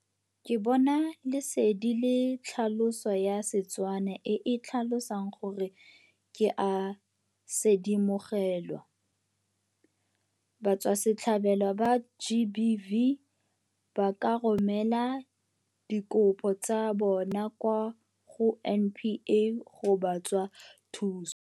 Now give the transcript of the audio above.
Ke Bona Lesedi ke tlhaloso ya Setswana e e tlhalosang gore ke a sedimogelwa. Batswasetlhabelo ba GBV ba ka romela dikopo tsa bona kwa go NPA go ba tswa thuso.